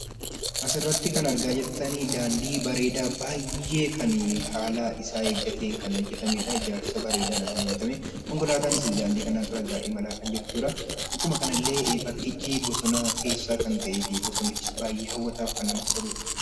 Asirratti kan argaa jirtan daandii bareedaa baay'ee kan haala isaa eeggateen kan hojjatamedha. Ijaarsa bareedaadhaan kan hojjatame konkolaataanis egaa daandii kanarra kan imalaa jirtudha. Akkuma kanallee bakkichi bosona keessa kan ta'ee fi daandichis hawwataaf kan namatti toludha.